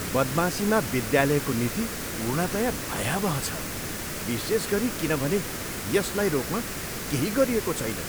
बदमाशीमा विद्यालयको नीति पूर्णतया भयावह छ विशेष गरी किनभने यसलाई रोक्न केही गरिएको छैन।